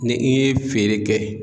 Ni i ye feere kɛ